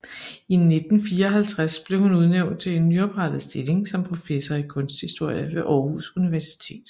I 1954 blev hun udnævnt til en nyoprettet stilling som professor i kunsthistorie ved Aarhus Universitet